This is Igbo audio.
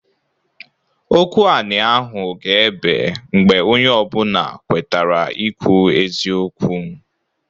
Okwu anị ahụ ga-ebe mgbe onye ọ bụna kwetara ikwu eziokwu.